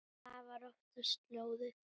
Og það var oftast lóðið.